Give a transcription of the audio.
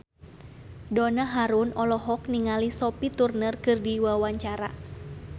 Donna Harun olohok ningali Sophie Turner keur diwawancara